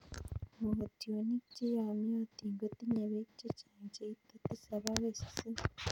Mogotionik che yamiotin kotinye peek che chang cheite tisap agoi sisit